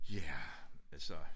Ja altså